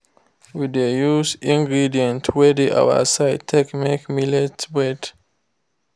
we dey use ingredients wey dey our side take make millet bread